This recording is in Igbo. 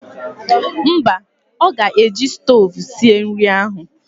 Mba, ọ ga-eji stoovu sie nri ahụ